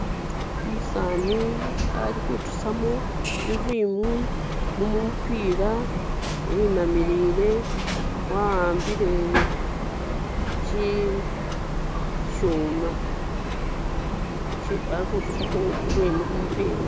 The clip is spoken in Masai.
Umusaani ali kutusamu irwimu mumupira winamilire awambimbire ishuma alikutusamo irwimu mumupira